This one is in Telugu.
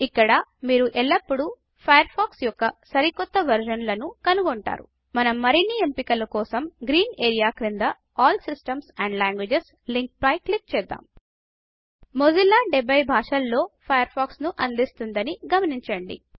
ఇక్కడ మీరు ఎల్లప్పుడూ ఫయర్ ఫాక్స్ యొక్క సరికొత్త వెర్షన్ల ను కనుగొంటారు మనం మరిన్ని ఎంపికలు కోసం గ్రీన్ ఏరియా క్రింద ఆల్ సిస్టమ్స్ ఆండ్ Languagesలింక్ పై క్లిక్ చేద్దాం మొజిల్లా 70 భాషలలో ఫయర్ ఫాక్స్ ను అందిస్తోదని గమనించండి